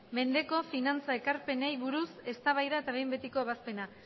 mendeko finantza ekarpenei buruz eztabaida eta behin betiko ebazpena